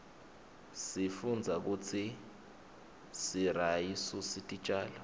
sifundza kutsi siryasusi titjalo